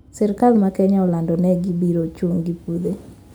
Sirkal ma kenya olando ne gibiro chung` gi pudhe